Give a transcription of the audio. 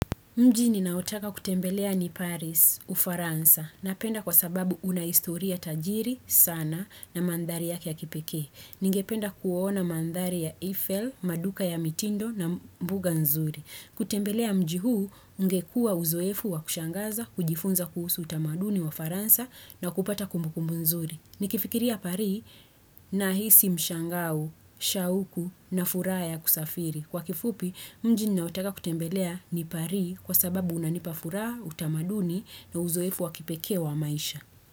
Mjini naotaka kutembelea ni Paris u Faransa na penda kwa sababu unaistoria Tajiri sana na mandhari yaki ya kipeke. Ningependa kuona mandhari ya Eiffel, maduka ya mitindo na mbuga nzuri. Kutembelea mji huu ungekua uzoefu wa kushangaza, kujifunza kuhusu utamaduni wa Faransa na kupata kumbu kumbu nzuri. Nikifikiria pari na hisi mshangau, shauku na furaya kusafiri. Kwa kifupi, mjini naotaka kutembelea niparii kwa sababu unanipafuraa, utamaduni na uzoifu wakipekewa maisha.